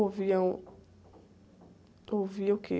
Ouviam... Ouvia o quê?